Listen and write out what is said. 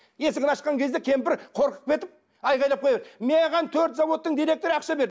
есігін ашқан кезде кемпір қорқып кетіп айғайлап маған төрт заводтың директоры ақша берді